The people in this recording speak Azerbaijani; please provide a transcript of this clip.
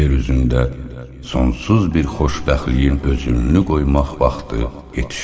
Yer üzündə sonsuz bir xoşbəxtliyin özülünü qoymaq vaxtı yetişdi.